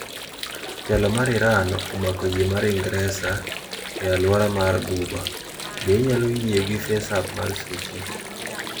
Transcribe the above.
Telo mar Iran omako yie mar Ingresa e alwora mar Ghuba. Be inyalo yie gi Faceapp mar suchi?